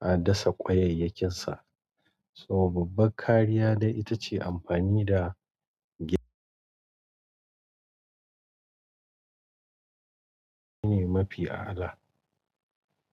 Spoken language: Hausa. a dasa ƙwayayyakin sa. Sa babba ƙariya dai ita ce amfani da gi ne mafi a ala.